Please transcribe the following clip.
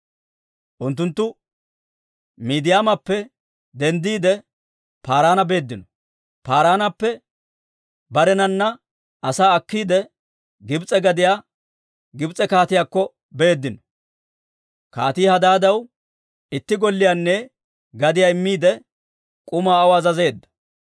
Unttunttu Midiyaamappe denddiide, Paaraana beeddino; Paaraanappe barenana asaa akkiide Gibs'e gadiyaa, Gibs'e kaatiyaakko beeddino. Kaatii Hadaadaw itti golliyaanne gadiyaa immiide, k'umaa aw azazeedda.